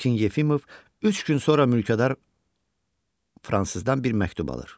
Lakin Yefimov üç gün sonra mülkədar fransızdan bir məktub alır.